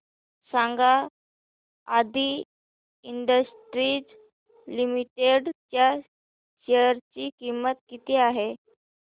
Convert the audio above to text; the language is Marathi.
सांगा आदी इंडस्ट्रीज लिमिटेड च्या शेअर ची किंमत किती आहे